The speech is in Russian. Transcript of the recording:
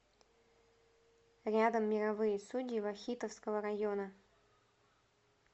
рядом мировые судьи вахитовского района